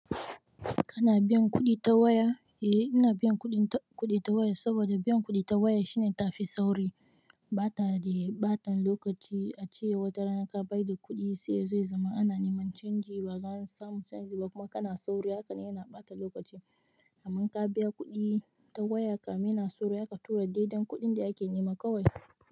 Kana biyan kuɗi ta waya? Eh, ina biyan kuɗi ta waya saboda biyan kuɗi ta waya shine ta fi sauri. Bata de ɓatan lokaci, a ce watarana ka bai da kuɗi sai yazo ya zama ana neman canji, ba a zo an samu canji ba kuma kana sauri haka ne yana ɓata lokaci. Amma ka biya kuɗi ta waya kam ina sauri haka tura daidan kuɗin da ake nema kawai.